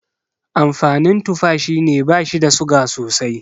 Amfanin tufa shine bashi da suga sosai